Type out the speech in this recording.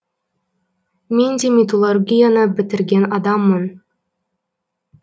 мен де металлургияны бітірген адаммын